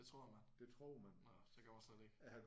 Det tror man. Nåh det gør man slet ikke